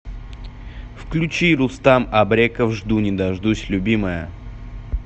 включи рустам абреков жду не дождусь любимая